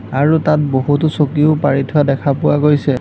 আৰু তাত বহুতো চকীও পাৰি থোৱা দেখা পোৱা গৈছে।